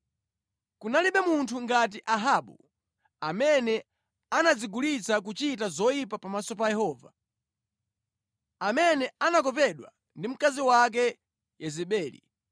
(Kunalibe munthu ngati Ahabu, amene anadzigulitsa kuchita zoyipa pamaso pa Yehova, amene anakopedwa ndi mkazi wake Yezebeli.